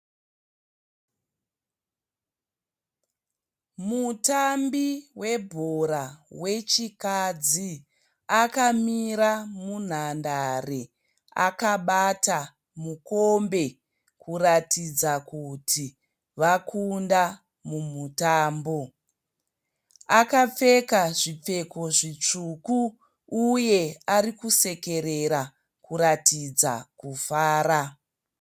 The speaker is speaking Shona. Mutambi webhora wechikadzi akamira munhandare akabata mukombe kuratidza kuti vakunda mumutambo. Akapfeka zvipfeko zvitsvuku uye ari kusekerera kuratidza kufara.